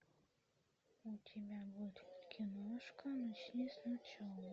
у тебя будет киношка начни сначала